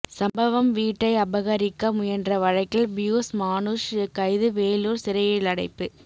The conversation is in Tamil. சம்பவம் வீட்டை அபகரிக்க முயன்ற வழக்கில் பியூஸ் மானுஷ் கைது வேலூர் சிறையிலடைப்பு